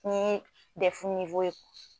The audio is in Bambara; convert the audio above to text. Ni dɛfu niwo ye